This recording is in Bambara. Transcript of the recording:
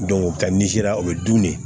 ka nizeri o bɛ dun ne